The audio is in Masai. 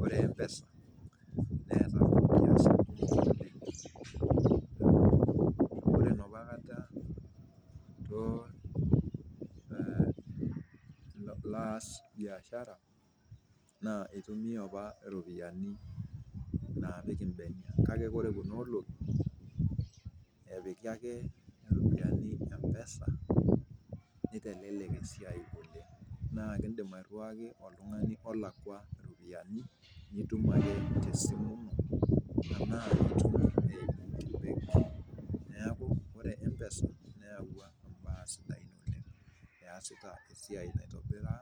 Ore Mpesa neata ore napa kata tenilo aas biashara naa eitumiya apa iropiyiani naa piiki imbene, kake ore kuna olong'i epiki ake iropiyiani Mpesa neitelelek esiai oleng, naa kindim airuaki oltungani olakwa iropiyiani nitum ake te esimo tanaa itum te embenki, naaku kore Mpesa neawa imbaa sidain oleng iyasita esiai neitobira